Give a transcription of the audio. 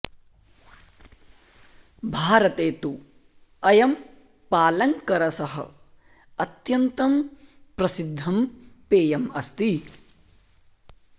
भारते तु अयं पालङ्करसः अत्यन्तं प्रसिद्धं पेयम् अस्ति